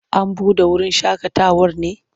An buɗe wurin shaƙatawar ne?